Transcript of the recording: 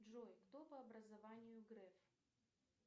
джой кто по образованию греф